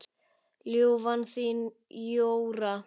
Ljúfan þín, Jóra.